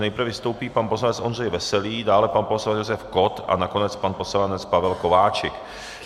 Nejprve vystoupí pan poslanec Ondřej Veselý, dále pan poslanec Josef Kott a nakonec pan poslanec Pavel Kováčik.